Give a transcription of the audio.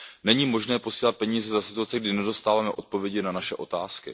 Není možné posílat peníze za situace, kdy nedostáváme odpovědi na naše otázky.